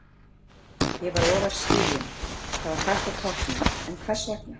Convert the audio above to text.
Ég var ofar skýjun Það er kalt á toppnum, en hvers vegna?